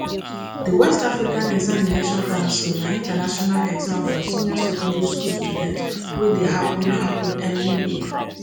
di west african examination council na international exam for senior secondary school student wey dey happun happun every year